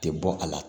Tɛ bɔ a la